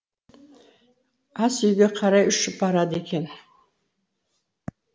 ас үйге қарай ұшып барады екен